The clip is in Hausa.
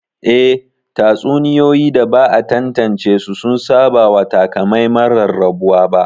Eh, tatsuniyoyi da ba a tantance su sun saba wa takamaiman rarrabuwa ba